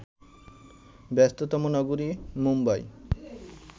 ব্যস্ততম নগরী মুম্বাই